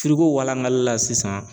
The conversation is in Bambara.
walakali la sisan